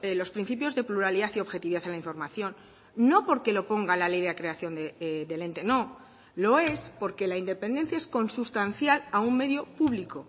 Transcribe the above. los principios de pluralidad y objetividad en la información no porque lo ponga la ley de creación del ente no lo es porque la independencia es consustancial a un medio público